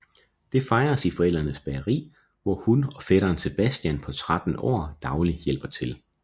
Det fejres i forældrenes bageri hvor hun og fætteren Sebastian på 13 år daglig hjælper til